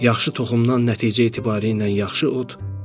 Yaxşı toxumdan nəticə etibarilə yaxşı ot,